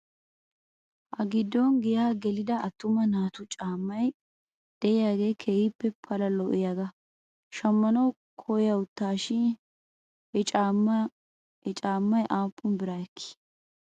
Ha giddon giyaa gelida attuma naatu caammay de'iyaagee keehi pala lo'iyaagaa shammanaw koyawttas shin he caammay aappun bira ekkii ?